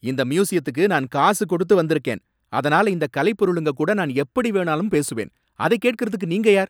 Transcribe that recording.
இந்த மியூசியத்துக்கு நான் காசு கொடுத்து வந்திருக்கேன், அதனால இந்தக் கலைப்பொருளுங்க கூட நான் எப்படி வேணாலும் பேசுவான், அதைக் கேட்கிறதுக்கு நீங்க யார்?